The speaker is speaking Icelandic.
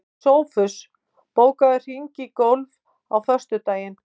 Sófus, bókaðu hring í golf á föstudaginn.